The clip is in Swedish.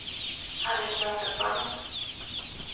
Harriet Mårtensson